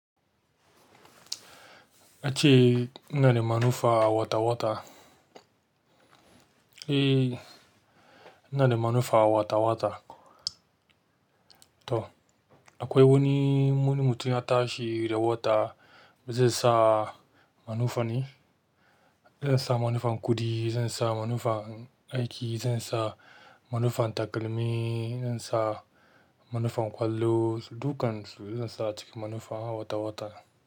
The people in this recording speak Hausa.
Yace ina da manufa wata wata. Eh ina da manufa wata wata. To akwai wani mutun ya tashi da wata zai sa manufa ne? Zai sa manufa kuɗi, zai sa manufa aiki, zan sa manufa takalmi, zan sa manufa ƙwallo, dukansu zan sa ciki manufa wata wata.